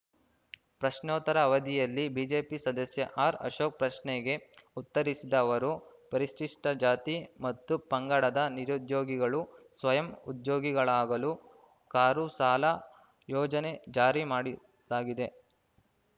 ಪ್ರಶ್ನೋತ್ತರ ಅವಧಿಯಲ್ಲಿ ಬಿಜೆಪಿ ಸದಸ್ಯ ಆರ್‌ಅಶೋಕ್‌ ಪ್ರಶ್ನೆಗೆ ಉತ್ತರಿಸಿದ ಅವರು ಪರಿಶಿಷ್ಟಜಾತಿ ಮತ್ತು ಪಂಗಡದ ನಿರುದ್ಯೋಗಿಗಳು ಸ್ವಯಂ ಉದ್ಯೋಗಿಗಳಾಗಲು ಕಾರು ಸಾಲ ಯೋಜನೆ ಜಾರಿ ಮಾಡಿ ಲಾಗಿದೆ